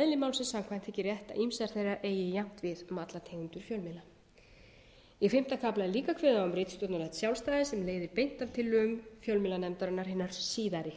eðli málsins samkvæmt þykir rétt að ýmsir þeirra eigi jafnt við um alla tengda fjölmiðla í fimmta kafla er líka kveðið á um ritstjórnarlegt sjálfstæði sem leiðir beint af tillögum fjölmiðlanefndarinnar hinnar síðari